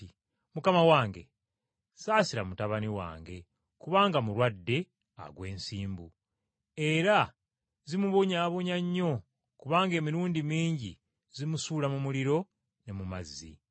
“Mukama wange, ssaasira mutabani wange, kubanga mulwadde agwa ensimbu, era zimubonyaabonya nnyo kubanga emirundi mingi zimusuula mu muliro ne mu mazzi.